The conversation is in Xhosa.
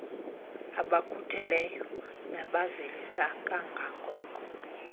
abakhutheleyo nabavelisa kangangoko